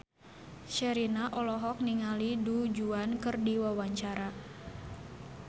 Sherina olohok ningali Du Juan keur diwawancara